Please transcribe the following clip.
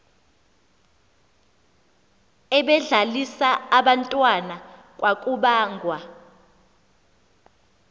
ebedlalisa abantwana kwakubangwa